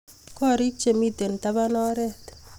korik chemiten taban oret